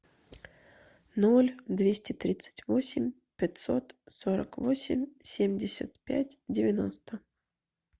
ноль двести тридцать восемь пятьсот сорок восемь семьдесят пять девяносто